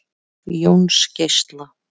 Jónsgeisla